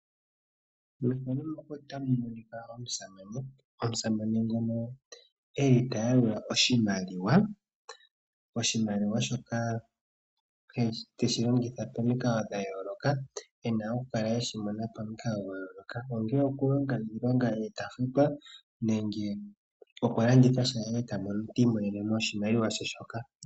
Iimaliwa oyina oshilonga nayi oshoka oha yi longithwa okulanda shoka aantu ya pumbwa . Ngaashi oongaku , iikutu nosho woo iikulya .